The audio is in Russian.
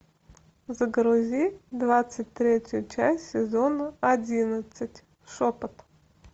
загрузи двадцать третью часть сезона одиннадцать шепот